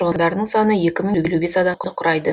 тұрғындарының саны екі мың елу бес адамды құрайды